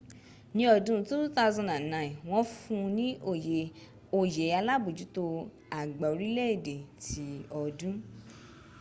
ní ọdún 2009 wọ́n fún ní oyè alábójútó àgbà orílẹ̀ èdè ti ọdún